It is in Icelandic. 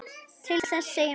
Til þess segjum við.